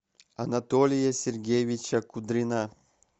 анатолия сергеевича кудрина